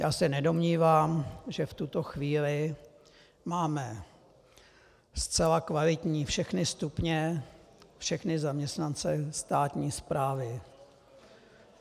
Já se nedomnívám, že v tuto chvíli máme zcela kvalitní všechny stupně, všechny zaměstnance státní správy.